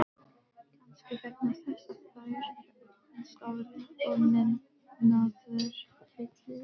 Kannski vegna þess að þær eru opinskárri og metnaðarfyllri.